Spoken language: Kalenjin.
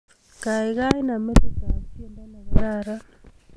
Gaigai naam metitab tyendo negararan